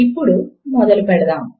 ఇప్పుడు మొదలు పెడదాము